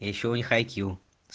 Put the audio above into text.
ещё у них ай кью